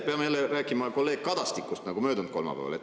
Peame jälle rääkima kolleeg Kadastikust, nagu ka möödunud kolmapäeval.